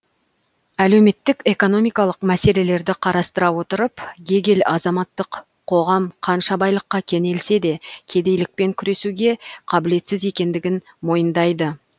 әлеуметтік экономикалық мәселелерді қарастыра отырып гегель азаматтық қоғам қанша байлыққа кенелсе де кедейлікпен күресуге қабілетсіз екендігін мойындайды